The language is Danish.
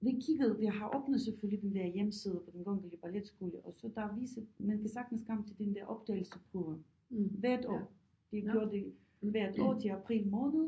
Vi kiggede vi har har åbnet selvfølgelig den der hjemmeside på den kongelige balletskole og så er der er viset man kan sagtens komme til den der optagelsesprøve hvert år det gjort det hvert år til april måned